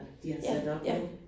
Ja, ja